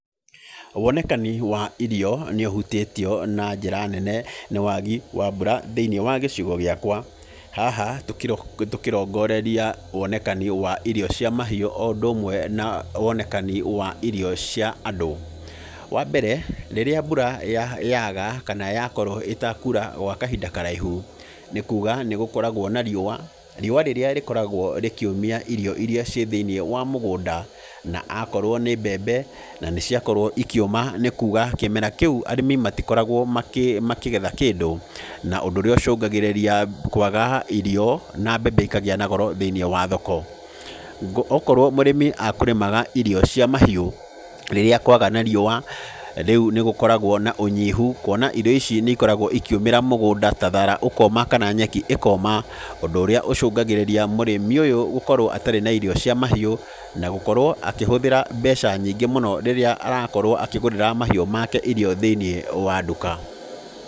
Wonekani wa irio nĩ ũhutĩtio na njĩra nene, nĩ wagi wa mbura thĩiniĩ wa gĩcigo gĩakwa. Haha tũkĩrongoreria wonekani wa irio cia mahiũ o ũndũ ũmwe na wonekani wa irio cia andũ. Wa mbere, rĩrĩa mbura yaaga, kana yakorwo ĩtakuura gwa kahinda karaihu, nĩ kuuga nĩ gũkoragwo na riũa. Riũa rĩrĩa rĩkoragwo rĩkĩũmia irio irĩa ciĩ thĩiniĩ wa mũgũnda. Na akorwo nĩ mbembe, na nĩ ciakorwo ikĩũma nĩ kuuga kĩmera kĩu arĩmi matikoragwo makĩgetha kĩndũ, na ũndũ ũrĩa ũcũngagĩrĩria kwaga irio, na mbembe ikagĩa na goro thĩiniĩ wa thoko. Okorwo mũrĩmi akũrĩmaga irio cia mahiũ, rĩrĩa kwaga na riũa, rĩu nĩ gũkoragwo na ũnyihu, kuona irio ici nĩ ikoragwo ikĩũmĩra mũgũnda, ta thaara ũkoma kana nyeki ĩkoma, ũndũ ũrĩa ũcũngagĩrĩria mũrĩmi ũyũ gũkorwo atarĩ na irio cia mahiũ, na gũkorwo akĩhũthĩra mbeca nyingĩ mũno rĩrĩa arakorwo akĩgũrĩra mahiũ make thĩiniĩ wa nduka.